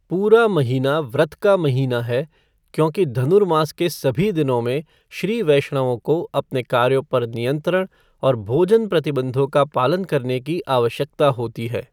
पूरा महीना व्रत का महीना है क्योंकि धनुरमास के सभी दिनों में श्री वैष्णवों को अपने कार्यों पर नियंत्रण और भोजन प्रतिबंधों का पालन करने की आवश्यकता होती है।